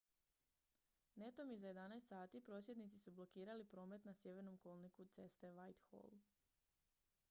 netom iza 11:00 h prosvjednici su blokirali promet na sjevernom kolniku ceste whitehall